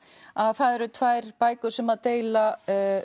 að það eru tvær bækur sem að deila